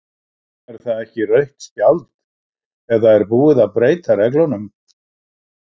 Er það ekki rautt spjald eða er búið að breyta reglunum?